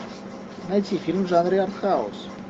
найти фильм в жанре артхаус